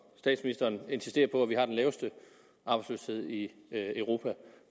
statsministeren insisterer på at vi har den laveste arbejdsløshed i europa